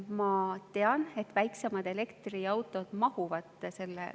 Ma tean, et väiksemad elektriautod mahuvad …